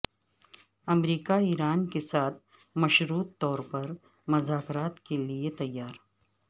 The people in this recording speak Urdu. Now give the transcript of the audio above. امریکہ ایران کے ساتھ مشروط طور پر مذاکرات کے لیے تیار